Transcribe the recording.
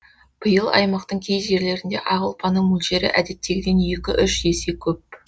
биыл аймақтың кей жерлерінде ақ ұлпаның мөлшері әдеттегіден екі үш есе көп